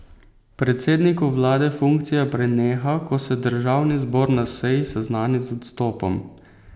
Predsedniku vlade funkcija preneha, ko se državni zbor na seji seznani z odstopom.